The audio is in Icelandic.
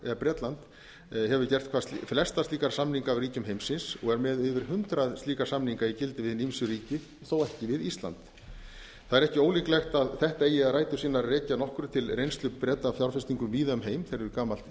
að bretland hefur gert flesta slíka samninga af ríkjum heimsins og er með yfir hundrað slíka samninga í gildi við hin ýmsu ríki þó ekki við ísland það er ekki ólíklegt að þetta eigi rætur sínar að rekja að nokkru til reynslu breta af fjárfestingum víða um heim þeir eru gamalt